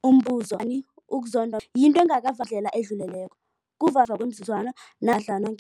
Umbuzo, gani ukuzondwa ngendlela edluleleko. ukuzibonakalisa ngemva kwemizuzwana namkha ngem